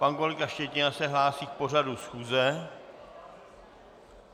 Pan kolega Štětina se hlásí k pořadu schůze.